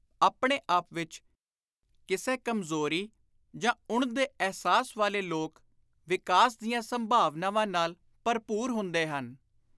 ਆਪਣੇ ਆਪ ਵਿਚ ਕਿਸੇ ਕਮਜ਼ੋਰੀ ਜਾਂ ਉਣ ਦੇ ਅਹਿਸਾਸ ਵਾਲੇ ਲੋਕ ਵਿਕਾਸ ਦੀਆਂ ਸੰਭਾਵਨਾਵਾਂ ਨਾਲ ਭਰਪੁਰ ਹੁੰਦੇ ਹਨ।